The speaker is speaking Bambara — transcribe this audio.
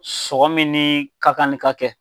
Sɔngɔ min nin ka kanli ka kɛ